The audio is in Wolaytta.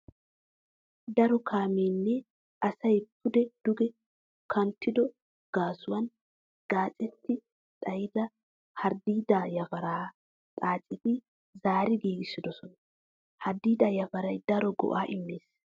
Daro kaamee nne asay pude duge kanttido gaasuwan qucetti xayida harddiidaa yafaraa xaaceti zaari giigissoosona. Harddiidaa yafaray daro go'aa immees.